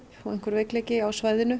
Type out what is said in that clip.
og einhver veikleiki á svæðinu